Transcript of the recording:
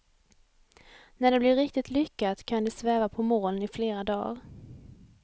När det blir riktigt lyckat kan de sväva på moln i flera dar.